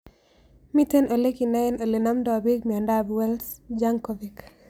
Mito ole kinae ole namdoi pik miondop Wells Jankovic